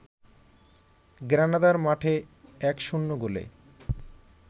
গ্রানাদার মাঠে ১-০ গোলে